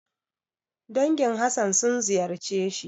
Dangin Hassan sun ziyarce shi.